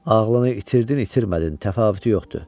Ağlını itirdin, itirmədin, təfavütü yoxdur.